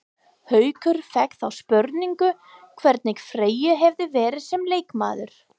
Haukur fékk þá spurningu hvernig Freyr hefði verið sem leikmaður?